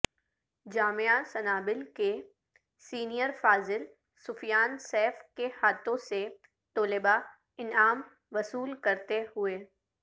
جامعہ سنابل کے سینئر فاضل سفیان سیف کے ہاتھوں سے طلبہ انعام وصول کرتے ہوئے